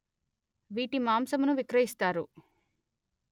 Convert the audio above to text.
వీటి మాంసమును విక్రయిస్తారు